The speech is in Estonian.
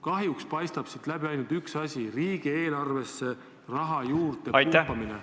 Kahjuks paistab siit läbi ainult üks eesmärk: riigieelarvesse raha juurde pumpamine.